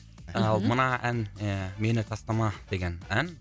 мхм ал мына ән і мені тастама деген ән